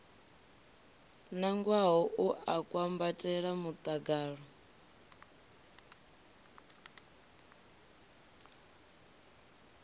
nangwaho u a kwambatela muḽagalu